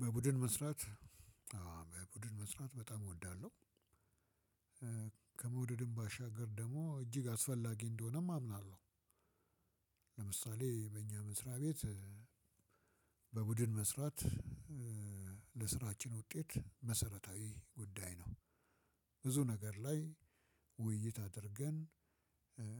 በቡድን መስራት በቡድን መስራት በጣም እወዳለሁ። ከመውደድም ባሻገር ደግሞ እጅግ አስፈላጊ እንደሆነም አምናለሁ። ለምሳሌ በእኛ መስሪያ ቤት በቡድን መስራት ለስራችን ውጤት መሰረታዊ ጉዳይ ነው። ብዙ ነገር ላይ ውይይት አድርገን